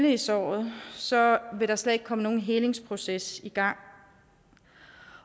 i såret så vil der slet ikke komme nogen helingsproces i gang